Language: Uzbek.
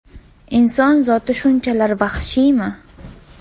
Inson zoti shunchalar vahshiymi?